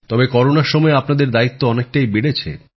তবে করোনার সময়ে আপনাদের দায়িত্ব অনেকটাই বেড়েছে